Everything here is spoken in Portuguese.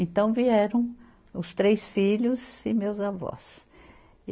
Então vieram os três filhos e meus avós.